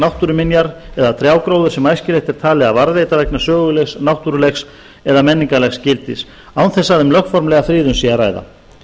náttúruminjar eða trjágróður sem æskilegt er talið að varðveita vegna sögulegs náttúrulegs eða menningarlegs gildis án þess að um lögformlega friðun sé að ræða